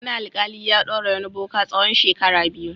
Wani alƙali ya ɗaure wani boka tsawon shekara biyu.